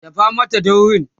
dafa Mata daurin!